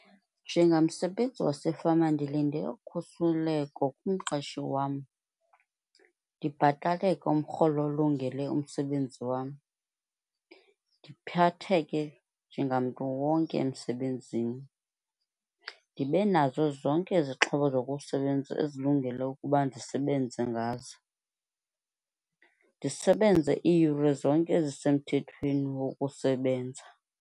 Njengamsebenzi wasefama ndilinde ukhusleko kumqeshi wam, ndibhataleke umrholo olungele umsebenzi wam, ndiphatheke njengamntu wonke emsebenzini. Ndibe nazo zonke izixhobo zokusebenza ezilungele ukuba ndisebenze ngazo, ndisebenze iiyure zonke ezisemthethweni wokusebenza.